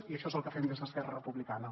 i això és el que fem des d’esquerra republicana